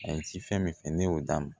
A ye ci fɛn min fɛn ne y'o d'a ma